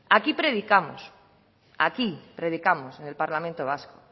aquí predicamos aquí predicamos en el parlamento vasco